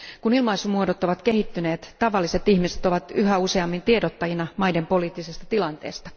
Kun ilmaisumuodot ovat kehittyneet, tavalliset ihmiset ovat yhä useammin tiedottajina maiden poliittisesta tilanteesta.